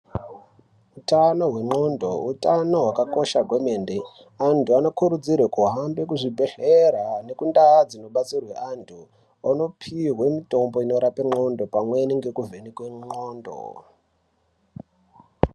Utano hwendxondo hutano hwakakosha kwemene. Antu anokurudzirwe kuhamba kuzvibhedhlera nekundau dzinodetserwa antu ondopiwe mitombo inorape ndxondo pamwe nekuvhenekwe ndxondo.